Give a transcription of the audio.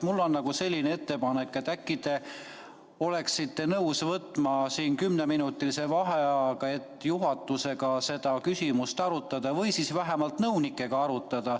Mul on selline ettepanek, et äkki te oleksite nõus võtma kümneminutilise vaheaja, et juhatusega seda küsimust arutada või siis vähemalt nõunikega arutada.